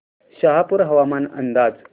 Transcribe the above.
शहापूर हवामान अंदाज